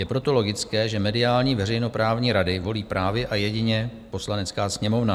Je proto logické, že mediální veřejnoprávní rady volí právě a jedině Poslanecká sněmovna.